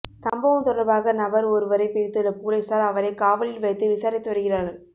சம்பவம் தொடர்பாக நபர் ஒருவரை பிடித்துள்ள பொலிசார் அவரை காவலில் வைத்து விசாரித்து வருகிறார்கள்